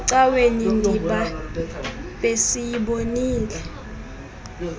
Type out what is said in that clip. ecaweni ndiba besiyibonile